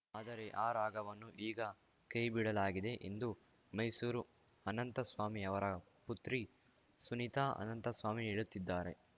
ಆದರೆ ಆ ರಾಗವನ್ನು ಈಗ ಕೈಬಿಡಲಾಗಿದೆ ಎಂದು ಮೈಸೂರು ಅನಂತಸ್ವಾಮಿ ಅವರ ಪುತ್ರಿ ಸುನೀತಾ ಅನಂತಸ್ವಾಮಿ ಹೇಳುತ್ತಿದ್ದಾರೆ